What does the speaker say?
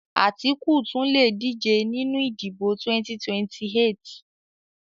Àtíkù tún lè díje nínú ìdìbò 2028